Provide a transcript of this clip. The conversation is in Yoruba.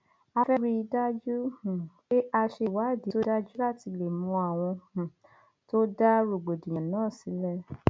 a fẹẹ rí i dájú um pé a ṣe ìwádìí tó dájú láti lè mọ àwọn um tó dá rògbòdìyàn náà sílẹ